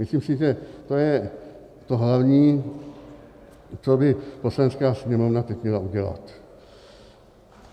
Myslím si, že to je to hlavní, co by Poslanecká sněmovna teď měla udělat.